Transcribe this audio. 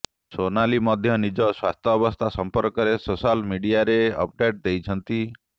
ସୋନାଲି ମଧ୍ୟ ନିଜ ସ୍ୱାସ୍ଥ୍ୟାବ୍ୟସ୍ଥା ସମ୍ପର୍କରେ ସୋଶାଲ୍ ମିଡିଆରେ ଅପଡେଟ୍ ଦେଇଛନ୍ତି